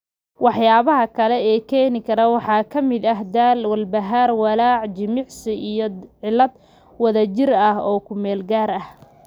Waxyaabaha kale ee keeni kara waxaa ka mid ah daal, walbahaar, walaac, jimicsi, iyo cillad wadajir ah oo ku meel gaar ah.